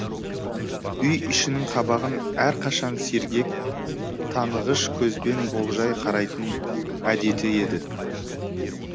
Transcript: үй ішінің қабағын әрқашан сергек танығыш көзбен болжай қарайтын әдеті еді